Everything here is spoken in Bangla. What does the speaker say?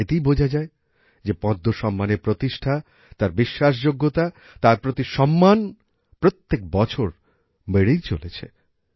এতেই বোঝা যায় যে পদ্ম সম্মানের প্রতিষ্ঠা তার বিশ্বাসযোগ্যতা তার প্রতি সম্মান প্রত্যেক বছর বেড়েই চলেছে